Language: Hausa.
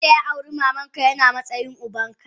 Wanda ya auri mamanka yana matsayin ubanka.